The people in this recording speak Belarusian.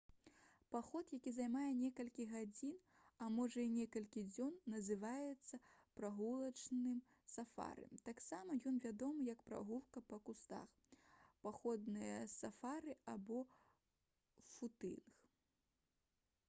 паход які займае некалькі гадзін а можа і некалькі дзён называецца прагулачным сафары. таксама ён вядомы як «прагулка па кустах» «паходнае сафары» альбо «футынг»